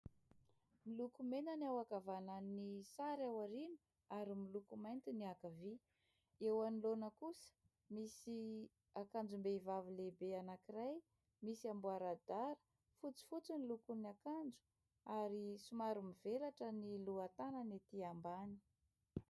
Miloko mena ny ao ankavanan'ny sary ao aoriana ary miloko mainty ny ankavia. Eo anoloana kosa misy akanjom-behivavy lehibe anankiray misy amboradara fotsifotsy ny lokon'ny akanjo ary somary mivelatra ny loha tanany etỳ ambany.